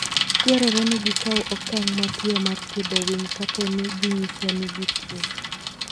Dwarore ni gikaw okang' mapiyo mar thiedho winy kapo ni ginyiso ni gituwo.